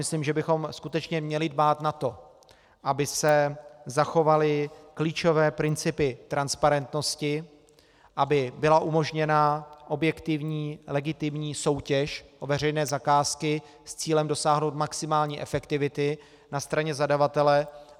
Myslím, že bychom skutečně měli dbát na to, aby se zachovaly klíčové principy transparentnosti, aby byla umožněna objektivní legitimní soutěž o veřejné zakázky s cílem dosáhnout maximální efektivity na straně zadavatele.